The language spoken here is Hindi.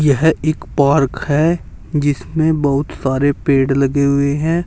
यह एक पार्क है जिसमें बहुत सारे पेड़ लगे हुए हैं।